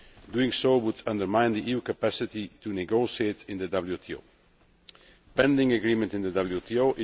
Doing so would undermine the EU's capacity to negotiate in the WTO.